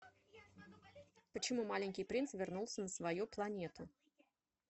почему маленький принц вернулся на свою планету